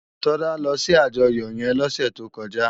Tola lò si àjòyò égùn yèn lòsè tókòjá